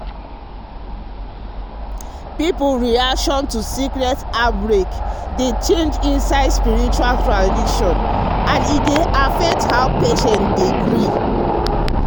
people reaction to sickness outbreak dey change dey change inside spiritual tradition and e dey affect how patients dey gree.